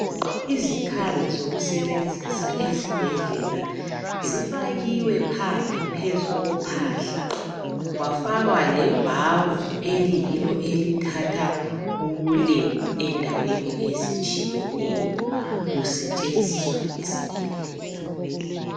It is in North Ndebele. Izikhali zokusebenzisa ezibhendlela zifakiwe phandle phezu kophahla kwafakwa lebhavu eliyiyellow elithatha ubulembu endaweni ezitshiyeneyo zisetshenziswa esibhedlela.